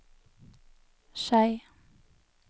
Skei